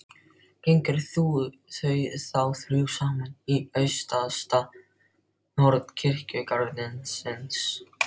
Gengu þau þá þrjú saman í austasta horn kirkjugarðsins.